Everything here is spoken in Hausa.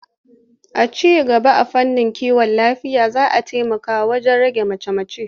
Ci gaba a fannin kiwon lafiya zai taimaka wajen rage mace-mace.